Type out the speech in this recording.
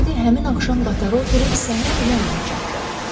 Kennedy həmin axşam qatara oturub səhər Londona çatdı.